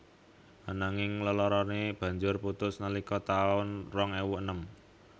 Ananging leloroné banjur putus nalika taun rong ewu enem